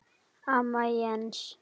Amma Jens.